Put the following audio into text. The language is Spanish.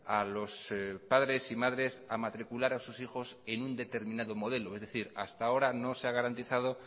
a los padres y madres a matricular a sus hijos en un determinado modelo es decir hasta ahora no se ha garantizado